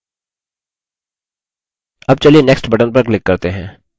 अब चलिए next button पर click करते हैं